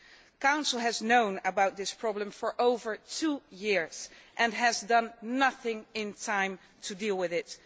The Council has known about this problem for over two years and has done nothing in that time to deal with it.